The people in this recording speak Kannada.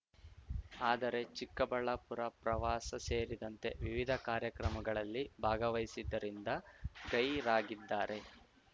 ಆದರೆ ಚಿಕ್ಕಬಳ್ಳಾಪುರ ಪ್ರವಾಸ ಸೇರಿದಂತೆ ವಿವಿಧ ಕಾರ್ಯಕ್ರಮಗಳಲ್ಲಿ ಭಾಗಹಿಸಿದ್ದರಿಂದ ಗೈರಾಗಿದ್ದಾರೆ